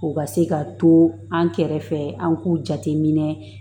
U ka se ka to an kɛrɛfɛ an k'u jate minɛ